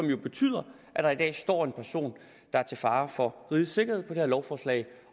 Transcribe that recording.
jo betyder at der i dag står en person der er til fare for rigets sikkerhed på det her lovforslag